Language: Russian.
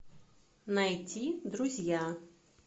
найди друзья